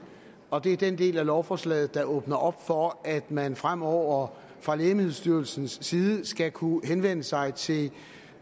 og det er den del af lovforslaget der åbner op for at man fremover fra lægemiddelstyrelsens side skal kunne henvende sig til